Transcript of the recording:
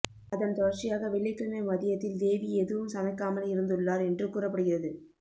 அதன் தொடர்ச்சியாக வெள்ளிக்கிழமை மதியத்தில் தேவி எதுவும் சமைக்காமல் இருந்துள்ளார் என்று கூறப்படுகிறது